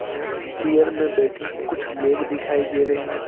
यहां चेयर में बैठे कुछ लोग दिखाई दे रहे हैं।